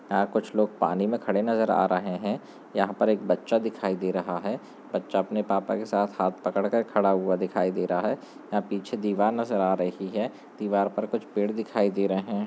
यहाँ कुछ लोग पानी में खड़े नजर आ रहे हैं यहाँ पर एक बच्चा दिखाई दे रहा है बच्चा अपने पापा के साथ हाथ पकड़ कर खड़ा हुआ दिखाई दे रहा है यहाँ पीछे दीवार नज़र आ रही है दीवार पर कुछ पेड़ दिखाई दे रहे हैं।